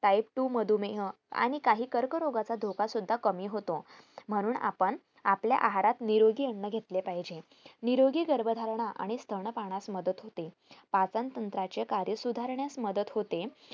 type two मधुमेह आणि काहीं कर्करोगाचा धोका सुद्धा कमी होतो म्हणून आपण आपल्या आहारात निरोगी अन्न घेतले पाहिजे निरोगी गर्भधारणा आणि स्तनपानात मदत होते पचनतंत्राचे कार्य सुधारण्यात मदत होते